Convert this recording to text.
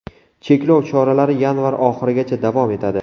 Cheklov choralari yanvar oxirigacha davom etadi.